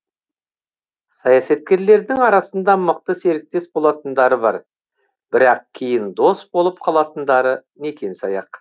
саясаткерлердің арасында мықты серіктес болатындары бар бірақ кейін дос болып қалатындары некен саяқ